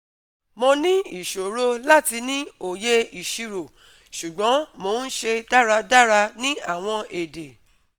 Mo ni iṣoro lati ni oye iṣiro ṣugbọn mo n ṣe daradara ni awọn ede